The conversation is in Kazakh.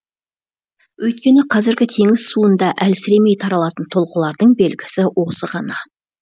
өйткені қазіргі теңіз суында әлсіремей таралатын толқылардың белгісі осы ғана